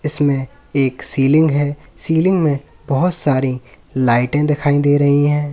इसमें एक सीलिंग है सीलिंग में बहोत सारी लाइटें दिखाई दे रही हैं।